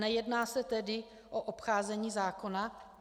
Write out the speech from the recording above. Nejedná se tedy o obcházení zákona?